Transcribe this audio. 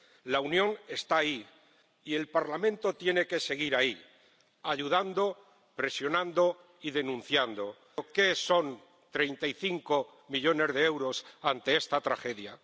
La Unión está ahí y el Parlamento tiene que seguir ahí, ayudando, presionando y denunciando. ¿Qué son 35 millones de euros ante esta tragedia?